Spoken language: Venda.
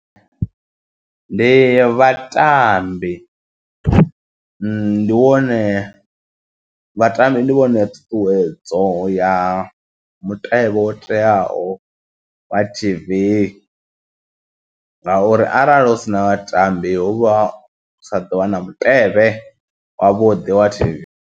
Ndi vhatambi ndi wone vhatambi ndi vhone ṱhuṱhuwedzo ya mutevhe wo teaho wa T_V ngauri arali husina vhatambi huvha hu sa ḓo vha mutevhe wavhuḓi wa T_V.